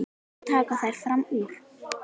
Svo taka þær fram úr.